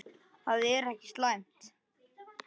Það er ekki slæmt.